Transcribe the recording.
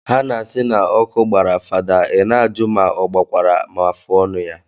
Ha na asi na oku gbara father i na aju ma ogbakwara ma afuonu ya.